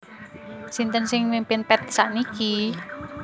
Sinten sing mimpin Path sakniki?